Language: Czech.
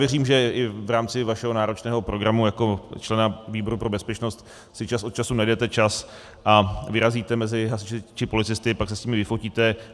Věřím, že i v rámci vašeho náročného programu jako člena výboru pro bezpečnost si čas od času najdete čas a vyrazíte mezi hasiče či policisty, pak se s nimi vyfotíte.